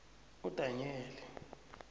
udanyeli